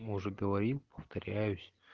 мы уже говорим повторяюсь